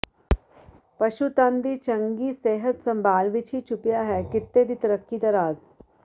ਪਸ਼ੂਧਨ ਦੀ ਚੰਗੀ ਸਿਹਤ ਸੰਭਾਲ ਵਿਚ ਹੀ ਛੁਪਿਆ ਹੈ ਕਿੱਤੇ ਦੀ ਤਰੱਕੀ ਦਾ ਰਾਜ